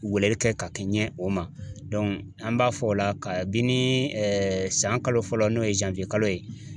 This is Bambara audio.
Weleli kɛ ka kɛɲɛ o ma an b'a fɔ o la ka bini san kalo fɔlɔ n'o ye kalo ye